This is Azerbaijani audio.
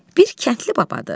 Bir kəndli babadır.